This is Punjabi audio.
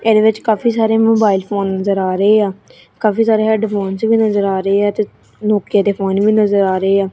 ਇਹਦੇ ਵਿੱਚ ਕਾਫੀ ਸਾਰੇ ਮੋਬਾਈਲ ਫੋਨ ਨਜ਼ਰ ਆ ਰਹੇ ਆ ਕਾਫੀ ਸਾਰੇ ਹੈਡਫੋਨਸ ਵੀ ਨਜ਼ਰ ਆ ਰਹੇ ਆ ਤੇ ਨੋਕੀਆ ਦੇ ਫੋਨ ਵੀ ਨਜ਼ਰ ਆ ਰਹੇ ਆ।